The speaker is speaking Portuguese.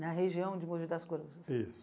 Na região de Mogi das Cruzes. Isso